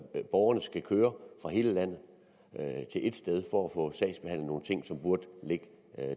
at borgerne skal køre fra hele landet til ét sted som burde ligge